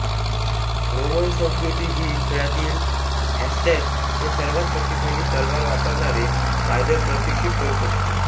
Roman संस्कृती ही खेळातील हॅस्टॅटस हे सर्वांत शक्तिशाली तलवार वापरणारे पायदळ प्रशिक्षित करू शकते